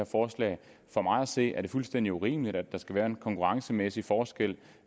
forslag for mig at se er det fuldstændig urimeligt at der skal være en konkurrencemæssig forskel